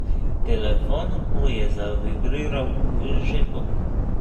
Telefon mu je zavibriral v žepu.